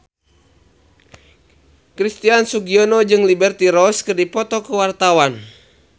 Christian Sugiono jeung Liberty Ross keur dipoto ku wartawan